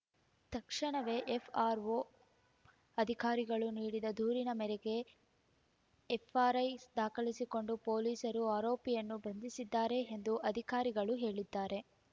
ತಕ್ಷಣವೇ ಎಫ್‌ಆರ್‌ಒ ಅಧಿಕಾರಿಗಳು ನೀಡಿದ ದೂರಿನ ಮೇರೆಗೆ ಎಫ್‌ಆರ್‌ಐ ದಾಖಲಿಸಿಕೊಂಡ ಪೊಲೀಸರು ಆರೋಪಿಯನ್ನು ಬಂಧಿಸಿದ್ದಾರೆ ಎಂದು ಅಧಿಕಾರಿಗಳು ಹೇಳಿದ್ದಾರೆ